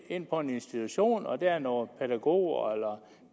ind på en institution og der er nogle pædagoger eller